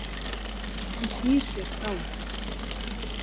Hann snýr sér frá henni.